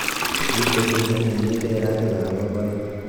Kitunish ak kikiperr ak lagok aeng.